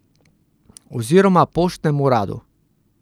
Oziroma poštnem uradu.